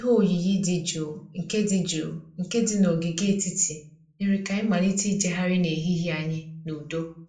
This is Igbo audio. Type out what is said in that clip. Ihe oyiyi dị jụụ nke dị jụụ nke dị n'ogige etiti mere ka anyị malite ịjegharị n'ehihie anyị n'udo